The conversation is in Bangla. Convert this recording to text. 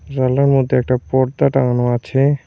মধ্যে একটা পর্দা টাঙানো আছে।